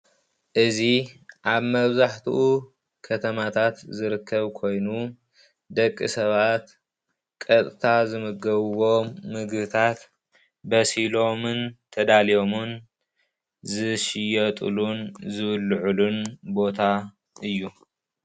እዚ ኣብ መብዛሕቲኡ ከተማታት ዝርከብ ኮይኑ ደቂ ሰባት ቀጥታ ዝምገብዎም ምግብታታት በሲሎምን ተዳልዮምን ዝሽየጥሉን ዝብልዑዕሉን ቦታ እዩ።